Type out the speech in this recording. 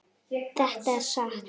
Þetta er satt.